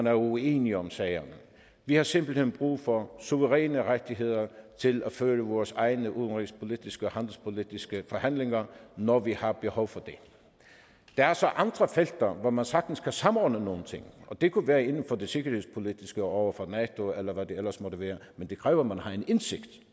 er uenige om sagerne vi har simpelt hen brug for suveræne rettigheder til at føre vores egne udenrigspolitiske og handelspolitiske forhandlinger når vi har behov for det der er så andre felter hvor man sagtens kan samordne nogle ting og det kunne være inden for det sikkerhedspolitiske over for nato eller hvad det ellers måtte være men det kræver at man har indsigt